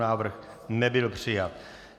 Návrh nebyl přijat.